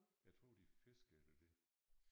Jeg tror det fiskede efter det